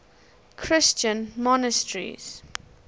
christian monasteries